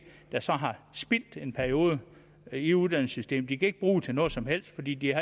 der så har spildt en periode i uddannelsessystemet de kan ikke bruge det til noget som helst fordi de